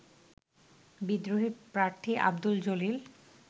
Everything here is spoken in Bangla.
বিদ্রোহী প্রার্থী আব্দুল জলিল